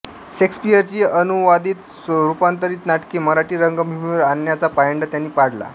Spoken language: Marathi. शेक्सपियरची अनुवादितरूपांतरित नाटके मराठी रंगभूमीवर आणण्याचा पायंडा त्यांनी पाडला